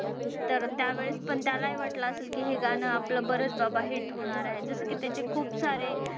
तर त्यावेळेस पण त्यालाही वाटलं असेल की हे गाणं आपलं बरंच बाबा hit होणार आहे. जसं की त्याची खूप सारे